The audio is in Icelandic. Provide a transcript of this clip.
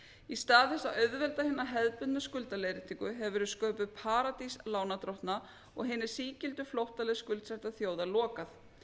í stað þess að auðvelda hina hefðbundnu skuldaleiðréttingu hefur verið sköpuð paradís lánardrottna og hinni sígildu flóttaleið skuldsettra þjóða lokað